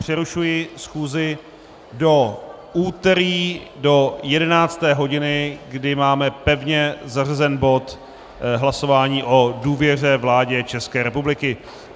Přerušuji schůzi do úterý do 11. hodiny, kdy máme pevně zařazený bod hlasování o důvěře vládě České republiky.